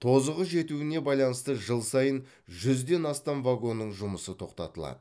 тозығы жетуіне байланысты жыл сайын жүзден астам вагонның жұмысы тоқтатылады